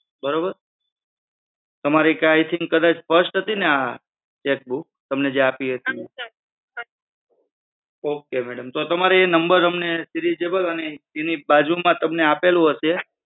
બરોબર? તમારે I think first હતીને આ chequebook? તમને જે આપી હતી. okay madam તો તમારે એ number seriesable અને એની બાજુમાં તમને આપેલું હશે.